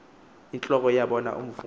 entloko yabona umvubo